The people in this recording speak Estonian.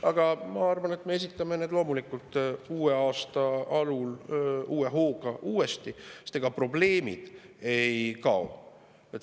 Aga ma arvan, et me esitame need loomulikult uue aasta alul uue hooga uuesti, sest ega probleemid ei kao.